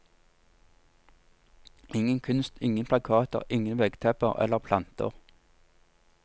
Ingen kunst, ingen plakater, ingen veggtepper eller planter.